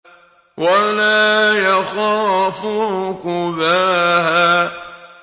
وَلَا يَخَافُ عُقْبَاهَا